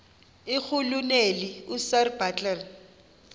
irhuluneli usir bartle